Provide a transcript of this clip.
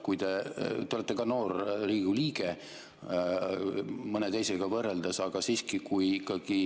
Te olete noor Riigikogu liige mõne teisega võrreldes, aga siiski, kui ikkagi